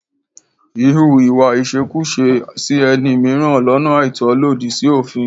Híhu ìwà ìṣekúṣe sí ẹni mìíràn lọ́nà àìtọ́ lòdì sí òfin.